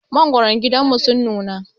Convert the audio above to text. Mangwaran gidanmu sun nuna.